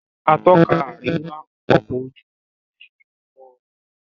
Atọ́ka àríwá ọkọ ojú omí fín mọ ọnà.